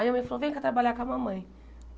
Aí a mãe falou, vem cá trabalhar com a mamãe.